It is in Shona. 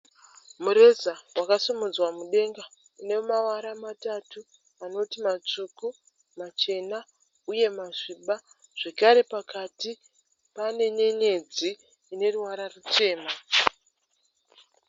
Mureza wakasimudzwa mudenga une mavara matatu. Anoti matsvuku, machena uye masviba, zvekare pakati pane nyenyedzi ine ruvara ruchena.